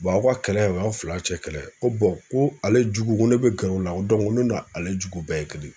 aw ka kɛlɛ o y'aw fila cɛ kɛlɛ ye ko ko ale jugu ko ne bɛ gɛrɛ o la ko ko ne n'ale jugu bɛɛ ye kelen ye.